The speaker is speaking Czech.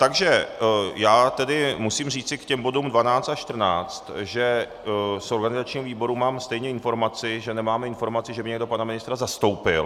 Takže já tedy musím říci k těm bodům 12 až 14, že z organizačního výboru mám stejně informaci, že nemáme informaci, že by někdo pana ministra zastoupil.